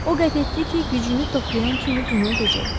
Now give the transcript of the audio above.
O qət etdi ki, gücünü toplayan kimi bunu edəcək.